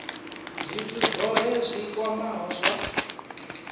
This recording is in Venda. zwithu zwohe zwi kwamaho zwa